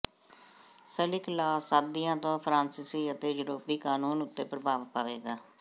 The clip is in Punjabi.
ਸਲਿਕ ਲਾੱਅ ਸਦੀਆਂ ਤੋਂ ਫਰਾਂਸੀਸੀ ਅਤੇ ਯੂਰੋਪੀ ਕਾਨੂੰਨ ਉੱਤੇ ਪ੍ਰਭਾਵ ਪਾਵੇਗਾ